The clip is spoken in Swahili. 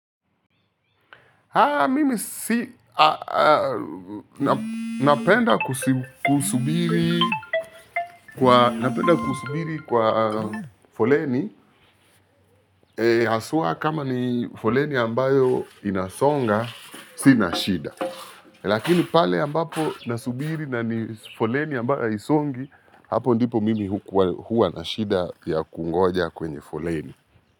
Haa, mimi si. Napenda kusubiri kwa. Napenda kusubiri kwa foleni. Haswa kama ni foleni ambayo inasonga, sina shida. Lakini pale ambapo nasubiri na ni foleni ambayo haisongi hapo ndipo mimi huwa na shida ya kungoja kwenye foleni.